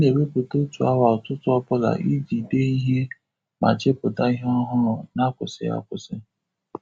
A na ewepu otu awa ụtụtụ ọbụla iji dee ihe ma chepụta ihe ọhụrụ n'akwụsịghị akwụsi